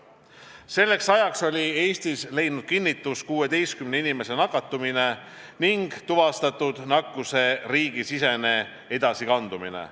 Selleks ajaks oli Eestis leidnud kinnitust 16 inimese nakatumine ning tuvastatud nakkuse riigisisene edasikandumine.